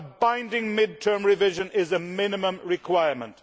a binding mid term revision is a minimum requirement.